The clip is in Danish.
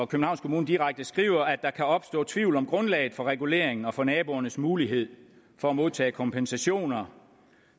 københavns kommune direkte skriver at der kan opstå tvivl om grundlaget for reguleringen og for naboernes mulighed for at modtage kompensationer